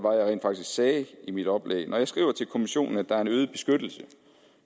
rent faktisk sagde i mit oplæg vil jeg skriver til kommissionen at der er en øget beskyttelse